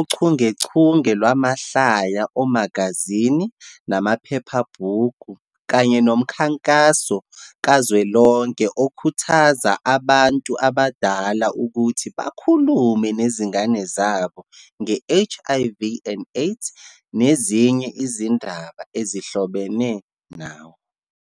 uchungechunge lwamahlaya omagazini namaphephabhuku, kanye nomkhankaso kazwelonke okhuthaza abantu abadala ukuthi bakhulume nezingane zabo nge-HIV and AIDS nezinye izindaba ezihlobene nayo.